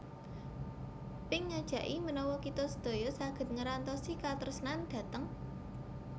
Pink ngajaki menawa kita sedaya saget ngerantosi katresnan dhateng